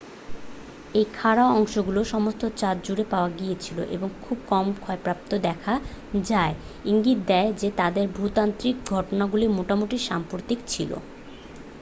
এই খাঁড়া অংশগুলো সমস্ত চাঁদ জুড়ে পাওয়া গিয়েছিল এবং খুবই কম ক্ষয়প্রাপ্ত দেখায় যা ইঙ্গিত দেয় যে তাদের ভূতাত্ত্বিক ঘটনাগুলি মোটামুটি সাম্প্রতিক ছিল